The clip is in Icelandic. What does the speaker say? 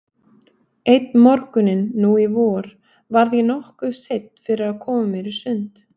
Einn morguninn nú í vor varð ég nokkuð seinn fyrir að koma mér í sund.